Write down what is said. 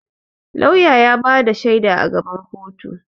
Lauya ya ba da shaida a gaban koto.